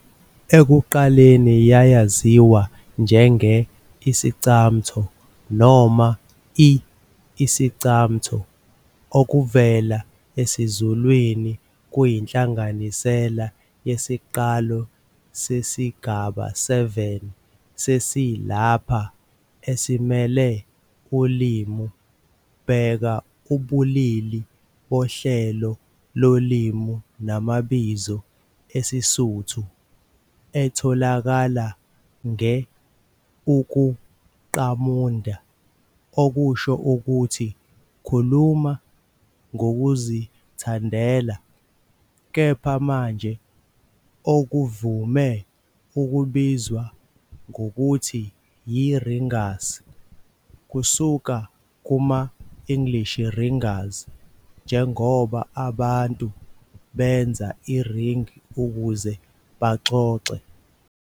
Ekuqaleni yayaziwa njenge- Iscamtho noma i- Isicamtho , okuvela esiZulwini, kuyinhlanganisela yesiqalo sesigaba 7 sesi- lapha esimele ulimi - bheka ubulili bohlelo lolimi namabizo "esiSuthu", etholakala nge-ukuqamunda, okusho ukuthi "khuluma ngokuzithandela", kepha manje okuvame ukubizwa ngokuthi yiRingas, kusuka kuma-English ringers, njengoba abantu benza iringi ukuze baxoxe.